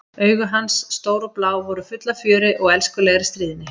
Augu hans, stór og blá, voru full af fjöri og elskulegri stríðni.